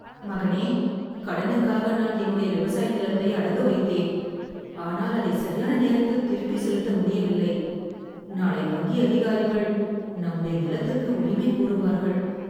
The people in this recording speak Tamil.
மகனே, கடனுக்காக நான் என்னுடைய விவசாய நிலத்தை அடகு வைத்தேன், ஆனால் அதை சரியான நேரத்தில் திருப்பி செலுத்த முடியவில்லை. நாளை வங்கி அதிகாரிகள் நம்முடைய நிலத்துக்கு உரிமை கோருவார்கள்.